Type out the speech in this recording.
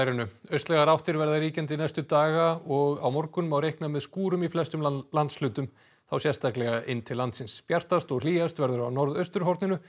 austlægar áttir verða ríkjandi næstu daga og á morgun má reikna með skúrum í flestum landshlutum þá sérstaklega inn til landsins bjartast og hlýjast verður á norðausturhorninu